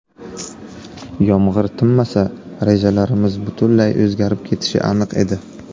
Yomg‘ir tinmasa, rejalarimiz butunlay o‘zgarib ketishi aniq edi.